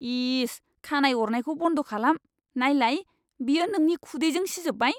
इस! खानाइ अरनायखौ बन्द खालाम। नायलाय, बेयो नोंनि खुदैजों सिजोबबाय!